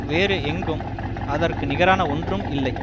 வேறு எங்கும் அதற்க்கு நிகரான ஒன்றும் இல்லை